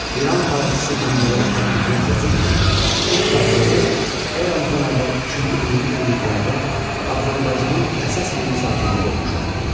İran tarixçisi Məhəmmədəli Tərbiyət yazır ki, türk tayfaları eramızdan əvvəl üçüncü-birinci minilliklərdə Azərbaycanın əsas yerli sakinləri olmuşlar.